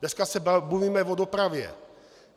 Dnes se bavíme o dopravě.